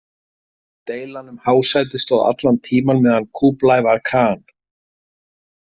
Deilan um hásætið stóð allan tímann meðan Kúblai var Khan.